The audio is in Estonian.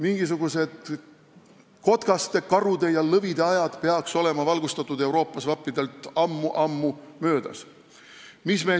Mingisuguste kotkaste, karude ja lõvide aeg vappidel peaks valgustatud Euroopas ammu-ammu möödas olema.